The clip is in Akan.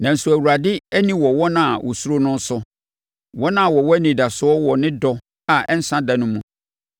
Nanso Awurade ani wɔ wɔn a wɔsuro no no so, wɔn a wɔwɔ anidasoɔ wɔ ne dɔ a ɛnsa da no mu,